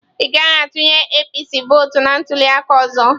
Ị gaghị a tụnyere APC vọọtụ na ntuli aka ọzọ.